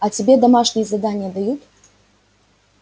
а тебе домашние задания дают